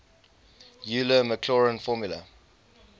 euler maclaurin formula